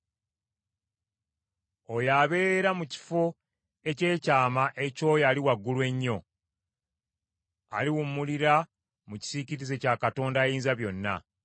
Oyo abeera mu kifo eky’ekyama eky’oyo Ali Waggulu Ennyo; aliwumulira mu kisiikirize kya Katonda Ayinzabyonna.